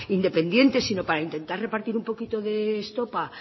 independiente sino para intentar repartir un poquito de estopa